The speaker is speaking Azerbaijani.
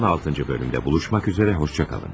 16-cı bölümdə görüşmək üzrə, xoşça qalın.